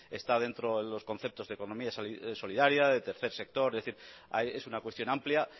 está dentro de los conceptos de economía solidaria de tercer sector es decir es una cuestión amplia